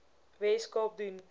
wes kaap doen